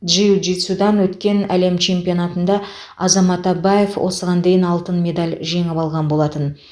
джиу джитсудан өткен әлем чемпионатында азамат абаев осыған дейін алтын медаль жеңіп алған болатын